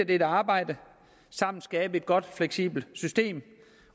dette arbejde og sammen skabe et godt fleksibelt system